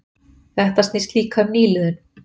Þetta snýst líka um nýliðun